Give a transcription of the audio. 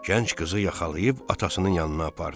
Gənc qızı yaxalayıb atasının yanına apardı.